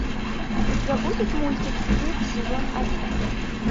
у тебя будет мультик стыд сезон один